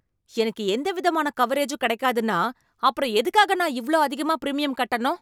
எனக்கு எந்த விதமான கவரேஜூம் கிடைக்காதுன்னா அப்புறம் எதுக்காக நான் இவ்ளோ அதிகமா பிரிமியம் கட்டணும்?